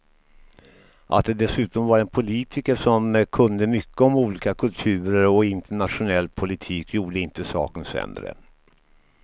Att det dessutom var en politiker som kunde mycket om olika kulturer och internationell politik gjorde inte saken sämre.